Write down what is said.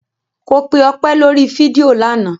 Ko pe Ọpẹ́ lórí fídíò lánàá.